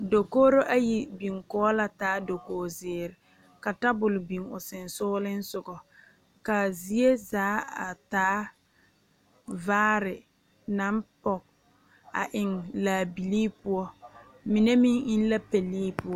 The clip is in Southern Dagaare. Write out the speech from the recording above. Dakogro ayi biŋ kɔge la taa dakoo zeere ka tabol biŋ o sogaŋ kaa zie zaa a taa vaare naŋ pɔge a eŋ laabilii poɔ mine meŋ eŋ la pelee poɔ